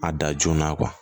A da joona